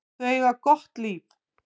Þau eiga gott líf.